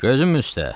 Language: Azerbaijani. Gözüm üstə.